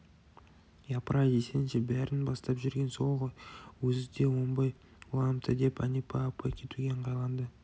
япырай десеңші бәрін бастап жүрген сол ғой ол өзі де оңбай уланыпты деп әнипа апай кетуге ыңғайланды